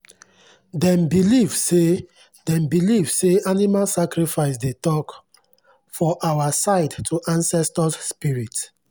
dem believe say dem believe say animal sacrifice dey talk for our side to ancestors spirit.